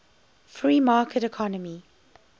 free market economy